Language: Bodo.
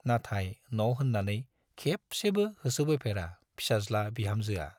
नाथाय न' होन्नानै खेबसेबो होसोबोफेरा फिसाज्ला-बिहामजोआ।